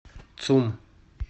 цум